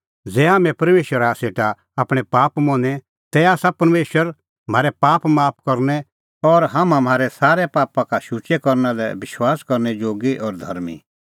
ज़ै हाम्हैं परमेशरा सेटा आपणैं पाप मनें तै आसा परमेशर म्हारै पाप माफ करनै और हाम्हां म्हारै सारै पापा का शुचै करना लै विश्वास करनै जोगी और धर्मीं